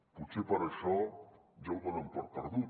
potser per això ja ho donen per perdut